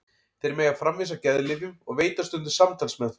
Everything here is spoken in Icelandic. Þeir mega framvísa geðlyfjum og veita stundum samtalsmeðferð.